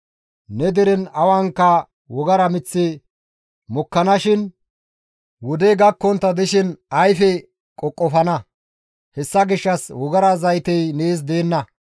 Ne deren awanka wogara miththi mokkanashin wodey gakkontta dishin ayfe qoqofana; hessa gishshas wogara zaytey nees deenna.